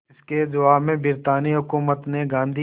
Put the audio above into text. इसके जवाब में ब्रितानी हुकूमत ने गांधी